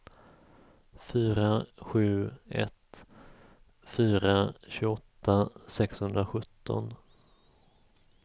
fyra sju ett fyra tjugoåtta sexhundrasjutton